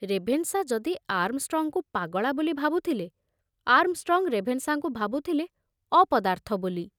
Ravenshaw ଯଦି ଆର୍ମଷ୍ଟ୍ରଙ୍ଗଙ୍କୁ ପାଗଳା ବୋଲି ଭାବୁଥିଲେ, ଆର୍ମଷ୍ଟ୍ରଙ୍ଗ ରେଭେନଶାଙ୍କୁ ଭାବୁଥିଲେ ଅପଦାର୍ଥ ବୋଲି।